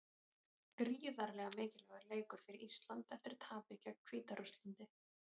Gríðarlega mikilvægur leikur fyrir Ísland eftir tapið gegn Hvíta-Rússlandi.